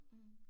Mh